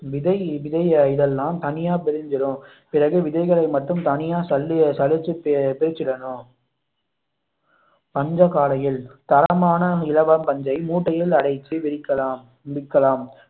விதை விதை இதெல்லாம் தனியா பிரிஞ்சிடும் பிறகு விதைகளை மட்டும் தனியாக சல்லி சலிச்சு பிரிச்சிரணும் பஞ்சகாலையில் தரமான இலவம் பஞ்சை மூட்டையில் அடைத்து விற்கலாம்